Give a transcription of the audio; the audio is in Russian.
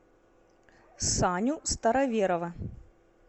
саню староверова